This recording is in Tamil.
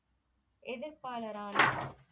எதிர்பாளர் ஆனார்